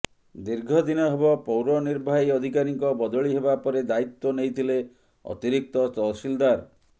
ଦୀର୍ଘ ଦିନ ହେବ ପୌରନିର୍ବାହୀ ଅଧିକାରୀଙ୍କ ବଦଳି ହେବା ପରେ ଦାୟିତ୍ୱ ନେଇଥିଲେ ଅତିରିକ୍ତ ତହସିଲଦାର